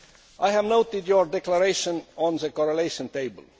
I have noted your declaration on the correlation table.